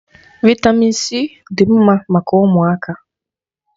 Vị́tamị́n c dị mma maka ụmụaka.